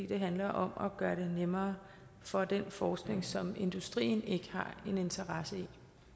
det handler om at gøre det nemmere for den forskning som industrien ikke har en interesse